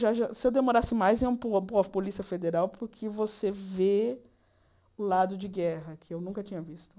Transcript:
Já já se eu demorasse mais, ia pôr pôr a Polícia Federal, porque você vê o lado de guerra, que eu nunca tinha visto.